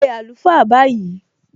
Pé àlùfáà báyìí!